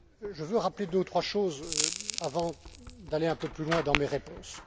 Je veux rappeler deux ou trois choses avant d'aller un peu plus loin dans mes réponses.